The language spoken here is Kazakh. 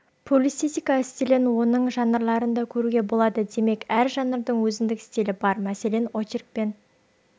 публицистика стилін оның жанрларынан да көруге болады демек әр жанрдың өзіндік стилі бар мәселен очерк пен